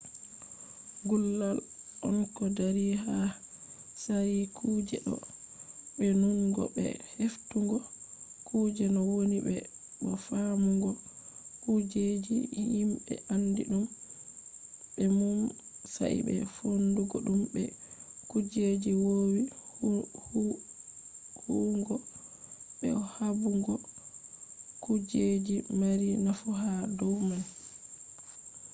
gullal on ko dari ha tsari kuje ɗo be nunugo be heftugo kuje no woni be bo faamugo kujeji himɓe andi ɗum be mum sai be fondugo ɗum be kujeji wowi huwugo be bo haɓugo kujeji mari nafu ha dow man